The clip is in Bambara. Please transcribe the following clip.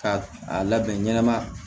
K'a a labɛn ɲɛnama